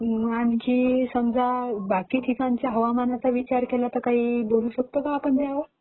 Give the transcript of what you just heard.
बाकी समजा बाकी ठिकाणच्या हवामानाचा विचार केला तर काही बोलू शकतो का पण त्यावर?